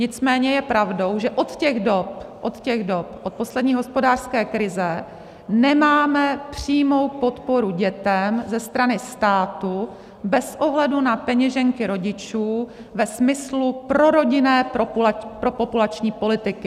Nicméně je pravdou, že od těch dob, od poslední hospodářské krize, nemáme přímou podporu dětem ze strany státu bez ohledu na peněženky rodičů ve smyslu prorodinné propopulační politiky.